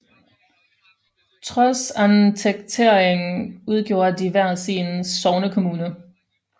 Trods annekteringen udgjorde de hver sin sognekommune